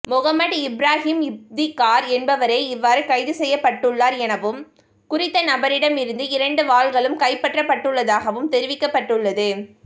மொஹமட் இப்ராஹீம் இப்திகார் என்பவரே இவ்வாறு கைது செய்யப்பட்டுள்ளார் எனவும் குறித்த நபரிடம் இருந்து இரண்டு வாள்களும் கைப்பற்றப்பட்டுள்ளதாகவும் தெரிவிக்கப்பட்டுள்ளது